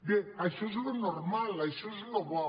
bé això és el normal això és el bo